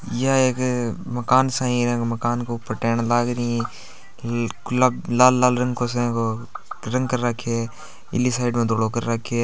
यह एक मकान सही है मकान के ऊपर टेन लगा रही है लाल लाल रंग से रंग कर रखें है एक साइड में धोलो कर रखो है।